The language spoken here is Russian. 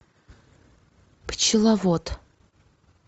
пчеловод